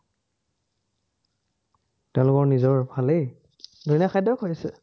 তেওঁলোকৰ নিজৰফালেই ধুনীয়া খাদ্যই খুৱাইছে।